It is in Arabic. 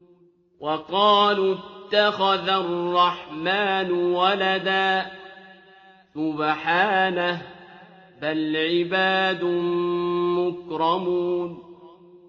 وَقَالُوا اتَّخَذَ الرَّحْمَٰنُ وَلَدًا ۗ سُبْحَانَهُ ۚ بَلْ عِبَادٌ مُّكْرَمُونَ